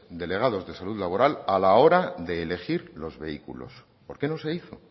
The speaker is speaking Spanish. delegados de salud laboral a la hora de elegir los vehículos por qué no se hizo